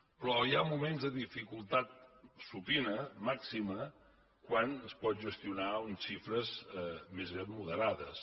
però hi ha moments de dificultat supina màxima quan es poden gestionar unes xifres més aviat moderades